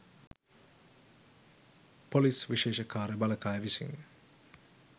police විශේෂ කාර්ය බළකාය විසින්